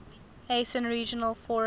asean regional forum